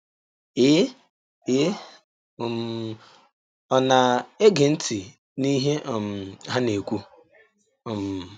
Ee Ee um, ọ na - ege ntị n’ihe um ha na - ekwu. um